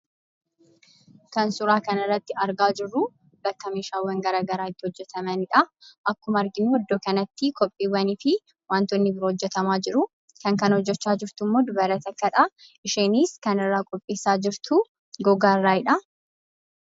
Kan suuraa kana irratti argaa jirruu bakka meeshaan garaa garii itti gurguramanii dha. Akkuma arginuu bakka kanatti kopheewwan kan hojjetamaa jiranii fi wantoonni addaa addaas kan hojjetamaa jiranii dha. Kan hojjechaa jirus dubartii dha; kan isheen irraa hojjechaa jirtus gogaa dha.